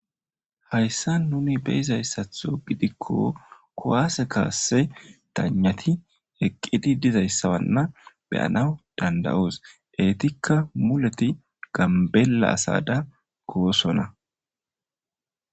Hayissan nuni beyizayissaththo gidikko kuwasse kase dayinati eqidi dizayissana be'anaw dandayos etikka mulet ganbela asadan goossona